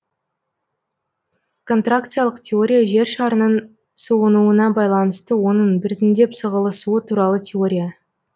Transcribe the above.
контракциялық теория жер шарының суынуына байланысты оның біртіндеп сығылысуы туралы теория